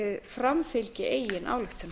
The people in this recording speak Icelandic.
framfylgi eigin ályktunum